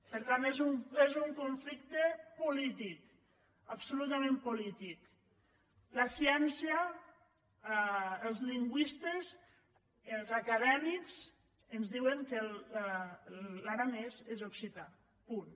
per tant és un conflicte polític absolu·tament polític la ciència els lingüistes els acadèmics ens diuen que l’aranès és occità punt